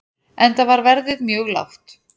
Enda var verðið mjög lágt.